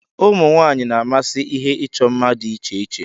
Ụmụ nwanyị na-amasị ihe ịchọ mma dị iche iche.